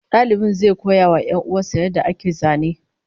Dalibin zai koya wa 'yan'uwan sa yadda ake zane